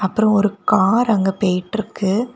அப்ரோ ஒரு கார் அங்கே பேய்ட்ருக்கு.